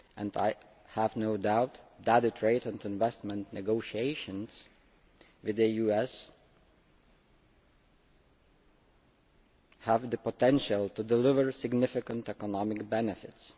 I have no doubt that data trade and investment negotiations with the US have the potential to deliver significant economic benefits.